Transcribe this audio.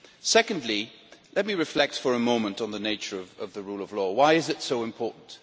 Secondly, let me reflect for a moment on the nature of the rule of law why is it so important?